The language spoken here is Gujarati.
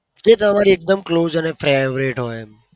જે તમારી એકદમ close અને favourite હોય એમ.